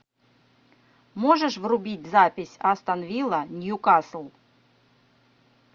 можешь врубить запись астон вилла ньюкасл